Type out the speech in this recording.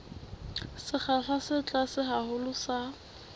sekgahla se tlase haholo sa